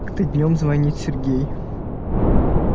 как-то днём звонит сергей